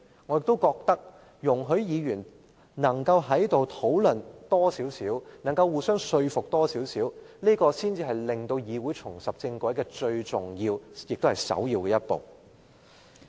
我認為議員應多作討論，並互相交流看法，這才是令議會重拾正軌最重要的一步。